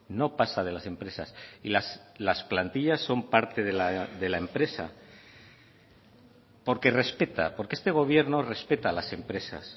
no pasa de las empresas y las plantillas son parte de la empresa porque respeta porque este gobierno respeta a las empresas